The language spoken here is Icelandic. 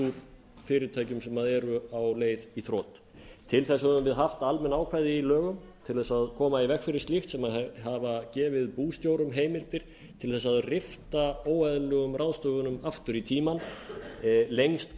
úr fyrirtækjum sem eru á leið í þrot til þess höfum við haft almenn ákvæði í lögum til að koma í veg fyrir slíkt sem hafa gefið bústjórum heimildir til að rifja óeðlilegum ráðstöfunum aftur í tímann lengst